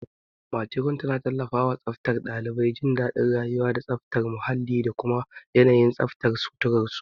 Matron tana tallafawa tsaftar ɗalibai, jin daɗin rayuwa, da tsafta muhalli da kuma yanayin tsaftar suturar su.